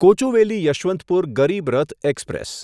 Kochuveli Yesvantpur Garib Rath express